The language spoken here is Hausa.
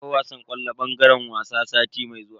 Akwai wasan ƙwallo a bangaren wasa sati mai zuwa.